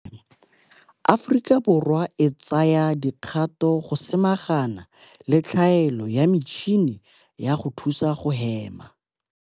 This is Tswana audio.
Aforika Borwa e tsaya dikgato go samagana le tlhaelo ya metšhini ya go thusa go hema.